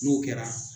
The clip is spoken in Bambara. N'o kɛra